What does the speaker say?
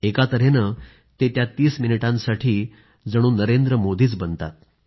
एका तहेने ते त्या 30 मिनिटांसाठी नरेंद्र मोदीच बनतात